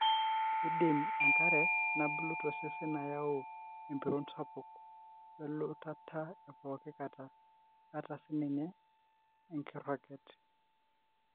kindim enkare nabulu tosesen ayau empiron sapuk, welutata epooki kata, ata sininye enkiroket.